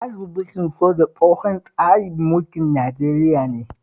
Tsarin mulkin soja tsohon tsarin mulkin Nigeria ne